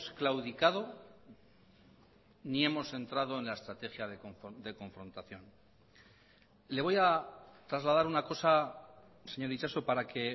claudicado ni hemos entrado en la estrategia de confrontación le voy a trasladar una cosa señor itxaso para que